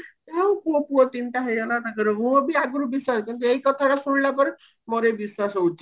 ପୁଅ ପୁଅ ତିନିଟା ହେଇଗଲା ତାଙ୍କର ମୁଁ ବି ଆଗରୁ ବିଶ୍ଵାସ କରୁନଥିଲି କିନ୍ତୁ ଏଇ କଥା ଟା ଶୁଣିଲା ପରେ ମୋର ବି ବିଶ୍ଵାସ ହଉଚି